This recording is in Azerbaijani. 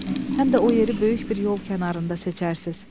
Həm də o yeri böyük bir yol kənarında seçərsiz.